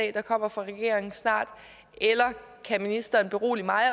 der kommer fra regeringen snart eller kan ministeren berolige mig